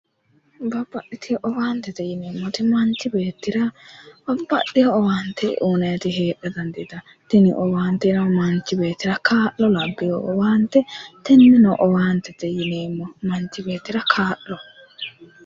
Babbaxxitino owaantete yinneemmoti, manchi beettira babbaxeo owaante uyinanniti heera dandiittano tini owaanteno manchi beettira kaa'lo labbino owaantete, tene owaantete yinneemmo